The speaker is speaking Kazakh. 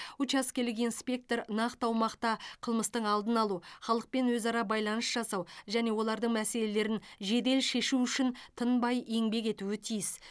учаскелік инспектор нақты аумақта қылмыстың алдын алу халықпен өзара байланыс жасау және олардың мәселелерін жедел шешу үшін тынбай еңбек етуі тиіс